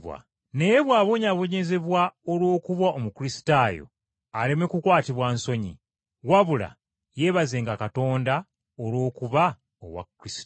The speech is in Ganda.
Naye bw’abonyaabonyezebwa olw’okuba Omukristaayo aleme kukwatibwa nsonyi, wabula yeebazenga Katonda olw’okuba owa Kristo.